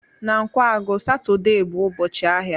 Na Nkwagu, Satọde bụ ụbọchị ahịa